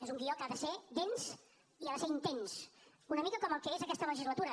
és un guió que ha de ser dens i ha de ser intens una mica com el que és aquesta legislatura